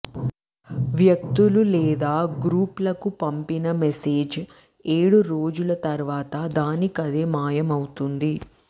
వ్యక్తులు లేదా గ్రూప్లకు పంపిన మెసేజ్ ఏడు రోజుల తరువాత దానికదే మాయమవుతుంది